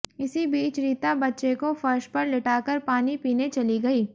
इसी बीच रीता बच्चे को फर्श पर लिटाकर पानी पीने चली गई